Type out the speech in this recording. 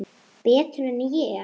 Betur en ég?